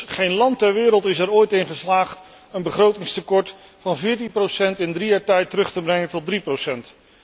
Immers, geen land ter wereld is er ooit in geslaagd een begrotingstekort van 14 procent in drie jaar tijd terug te brengen tot 3 procent.